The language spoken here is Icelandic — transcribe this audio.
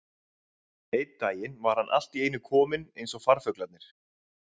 Einn daginn var hann allt í einu kominn eins og farfuglarnir.